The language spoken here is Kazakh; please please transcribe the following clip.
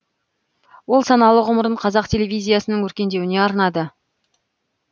ол саналы ғұмырын қазақ телевизиясының өркендеуіне арнады